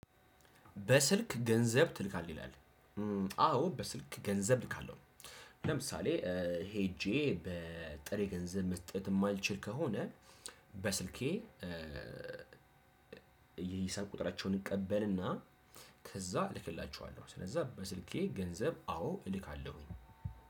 በስልክ ገንዘብ ትልካለህ ይላል አዎ በስልክ ገንዘብ እልካለሁ። ለምሳሌ ሄጄ ጥሬ ገንዘብ መስጠት የማልችል ከሆነ በስልኬ። ስልክ ቁጥራቸውን እቀበልና ከዛ እልክላቸዋለሁ። ስለዚህ በስልኬ ገንዘብ አዎ እልካለሁኝ።